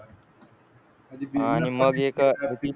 आणि मग हे एक